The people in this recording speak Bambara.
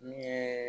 Min ye